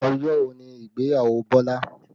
Ọjọ́ wo ni ìgbéyàwó Bọlá?